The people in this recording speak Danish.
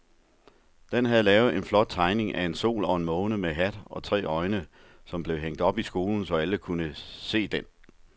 Dan havde lavet en flot tegning af en sol og en måne med hat og tre øjne, som blev hængt op i skolen, så alle kunne se den.